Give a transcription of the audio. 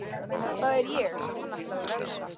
Það er ég sem hann ætlar að refsa.